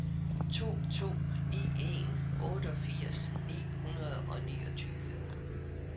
to to ni en otteogfirs ni hundrede og niogtyve